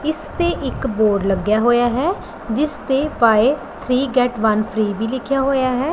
ਇੱਸ ਤੇ ਇੱਕ ਬੋਰਡ ਲੱਗਿਆ ਹੋਇਆ ਹੈ ਜਿੱਸ ਤੇ buy three get one free ਵੀ ਲਿੱਖਿਆ ਹੋਇਆ ਹੈ।